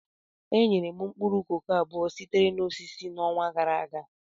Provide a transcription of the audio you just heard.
Enyere m mkpụrụ koko abụọ sitere na osisi n'ọnwa gara aga.